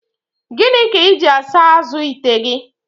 Gịnị ka iji asa azụ ite gị?